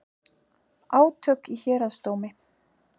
Átök í héraðsdómi